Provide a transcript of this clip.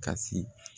Kasi